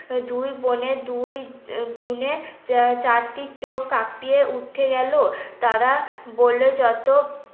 দুই বোনে দুই চারটি চোখ কাঁপিয়ে উঠে গেল। তারা বলল যত